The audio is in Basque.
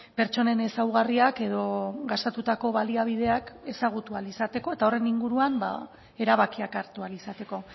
pertsonen ezaugarriak edo gastutako baliabideak ezagutu ahal izateko eta horren inguruan erabakiak hartu ahal izateko